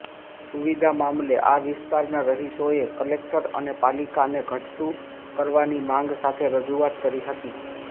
સુવિધા મામલે આ વિસ્તારના રહીશોએ કલેકટર અને પાલિકાને ઘટતુ કરવાની માંગ સાથે રજૂઆત કરી હતી